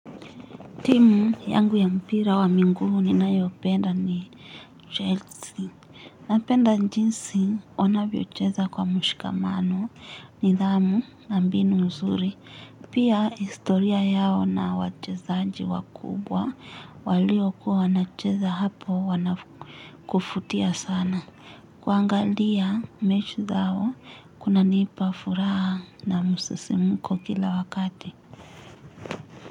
Timu yangu ya mpira wa mingumu ni nayo penda ni Jelsi. Napenda njinsi wanaviocheza kwa mshikamano ni dhamu na mbinu mzuri. Pia istoria yao na wachezaaji wakubwa walio kuwa na cheza hapo wana kufutia sana. Kwa angalia mechi zao kuna nipa furaha na musisimuko kila wakati.